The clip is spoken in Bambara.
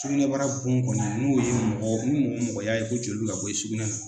Sugunɛbara bon kɔni n'o ye mɔgɔ ni mɔgɔ mɔgɔ y'a ko joli bɛ ka bɔ i sugunɛ na